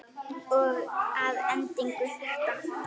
Og að endingu þetta.